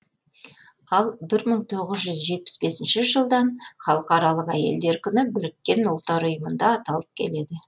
ал бір мың тоғыз жүз жетпіс бесінші жылдан халықаралық әйелдер күні біріккен ұлттар ұйымында аталып келеді